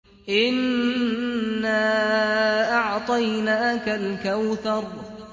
إِنَّا أَعْطَيْنَاكَ الْكَوْثَرَ